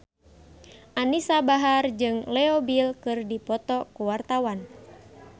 Anisa Bahar jeung Leo Bill keur dipoto ku wartawan